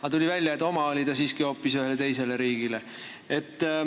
Aga tuli välja, et oma oli ta hoopis ühele teisele riigile.